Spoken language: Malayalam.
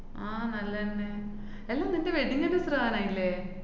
ആഹ് നല്ലന്നെ. എല്ലാ നിന്‍റെ wedding anniversary ആനായില്ലേ?